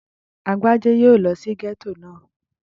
Agbájé yóò lọ sí gẹ́tò náà